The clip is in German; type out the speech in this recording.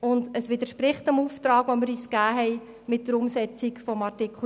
Zudem widerspricht die Massnahme dem Auftrag der Umsetzung von Artikel 17.